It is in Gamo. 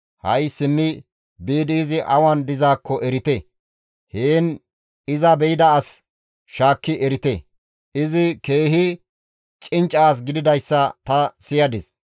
Ha7i simmi biidi izi awan dizaakko erite; heen iza be7ida as shaakki erite; izi keehi cincca as gididayssa ta siyadis.